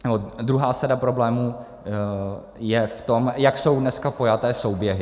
Druhá sada problémů je v tom, jak jsou dnes pojaty souběhy.